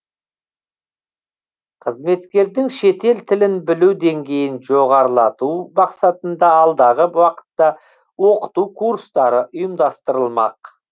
қызметкердің шетел тілін білу деңгейін жоғарылату мақсатында алдағы уақытта оқыту курстары ұйымдастырылмақ